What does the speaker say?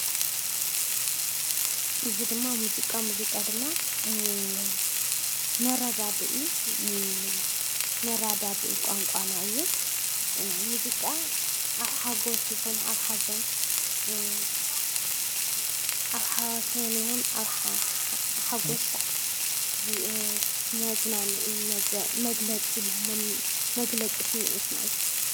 እዚ ምስሊ ጭራዋጣ ዝበሃል ኾይኑ ካብቶም ባህላዊ መሳርሒ ሙዚቃ ሓደ እዩ።